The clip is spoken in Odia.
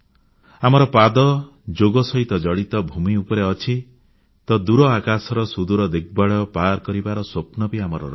ଆମର ପାଦ ଯୋଗ ସହିତ ଜଡ଼ିତ ଭୂମି ଉପରେ ଅଛି ତ ଦୂର ଆକାଶର ସୁଦୂର ଦିଗ୍ବଳୟ ପାର କରିବାର ସ୍ୱପ୍ନ ବି ଆମର ଅଛି